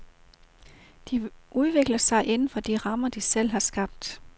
De udvikler sig inden for de rammer, de selv har skabt.